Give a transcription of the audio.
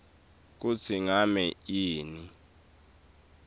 kutsi ngabe yini